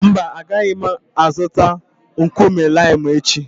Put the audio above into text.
Mba, agaghị m azụta nkume limu echi.